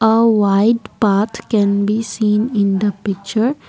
a white path can be seen in the picture.